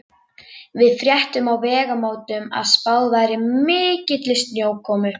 Við fréttum á Vegamótum að spáð væri mikilli snjókomu.